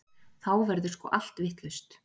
Þá verður sko allt vitlaust.